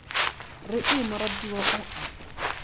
re ee moratiwa o a